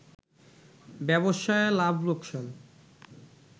ব্যবসায় লাভ লোকসান